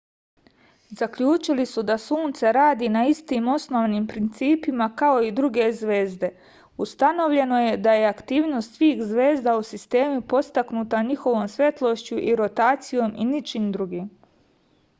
zaključili su da sunce radi na istim osnovnim principima kao i druge zvezde ustanovljeno je da je aktivnost svih zvezda u sistemu podstaknuta njihovom svetlošću i rotacijom i ničim drugim